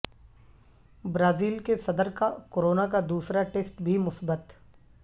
Brazil کے صدر کا کرونا کا دوسرا ٹیسٹ بھی مثبت